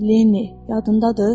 Leni, yadındadır?